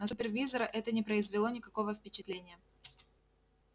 на супервизора это не произвело никакого впечатления